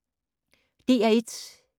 DR1